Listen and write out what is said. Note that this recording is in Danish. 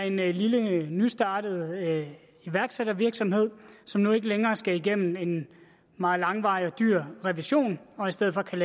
en lille nystartet iværksættervirksomhed som nu ikke længere skal igennem en meget langvarig og dyr revision og i stedet for kan